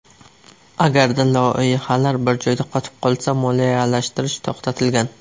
Agarda loyihalar bir joyda qotib qolsa, moliyalashtirish to‘xtatilgan.